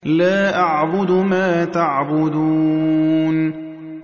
لَا أَعْبُدُ مَا تَعْبُدُونَ